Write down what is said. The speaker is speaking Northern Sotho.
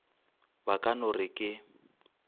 ba ka no re ke